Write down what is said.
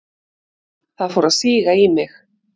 Það fór að síga í mig.